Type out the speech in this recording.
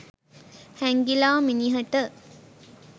හැංගිලා මිනිහට